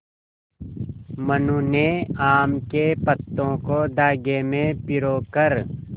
मनु ने आम के पत्तों को धागे में पिरो कर